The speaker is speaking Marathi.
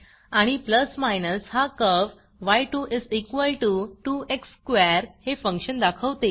आणि हा कर्व्ह y22x2 हे फंक्शन दाखवते